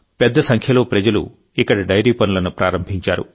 పెద్ద సంఖ్యలో ప్రజలు ఇక్కడ డైరీ పనులను ప్రారంభించారు